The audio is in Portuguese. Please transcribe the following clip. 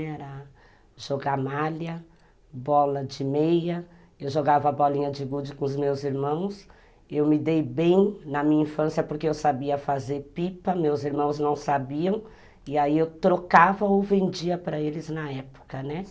Era jogar malha, bola de meia, eu jogava bolinha de gude com os meus irmãos, eu me dei bem na minha infância porque eu sabia fazer pipa, meus irmãos não sabiam, e aí eu trocava ou vendia para eles na época, né?